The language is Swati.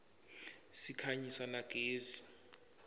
sikhanyisa na gezi